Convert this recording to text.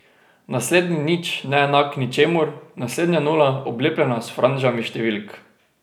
Naslednji nič neenak ničemur, naslednja nula, oblepljena s franžami številk.